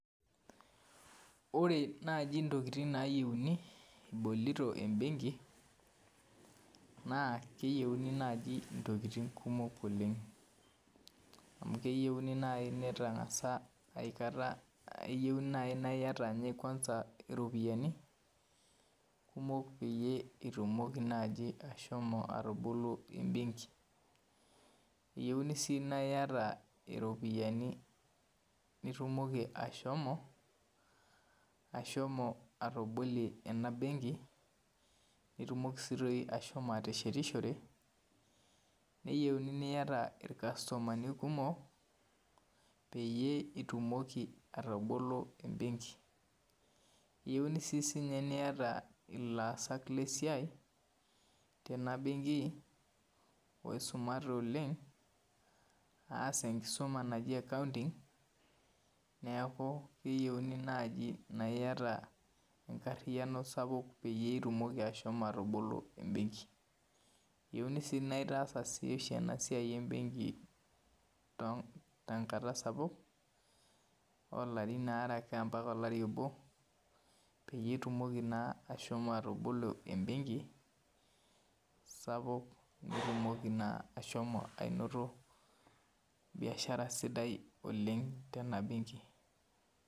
Ore naji ntokitin nayieuni ibolito embenki na keyieuni nai ntokitin kumok oleng amu keyieuni nai nitangasa aikata keyieu nai na iyata ropiyani kumok peyie itumoki ashomo atobolo embenki eyieuni si naita ropiyani nitumokibashomo atobolie enabenki nitumoki si ashomobateshetishore neyieuni niata irkastomani kumok peitumoki ashomo atabolo embenki eyieuni si sinye niata laasak lesiai tenabenki oisumate oleng aas enkisuma naji accounting neaku keyieuni naiata enkariano sapuk peitumoki ashomo atabolo embenki eyieuni sinaitaasa esiai embenki tenkata sapuk olarin aarebmpaka olariboni peitumoki na ashomo atabolo embenki sapuuk pitumoki ashomo ainoto biashara sidai oleng tenabenki.